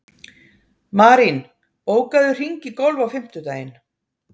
Marín, bókaðu hring í golf á fimmtudaginn.